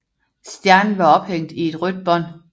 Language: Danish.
Stjernen var ophængt i et rødt bånd